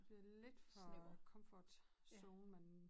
Bliver det lidt for comfortzone man